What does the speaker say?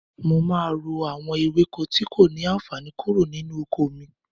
Mo máa ro àwọn ewéko tí kò ní àànfàní kúrò nínú oko mi.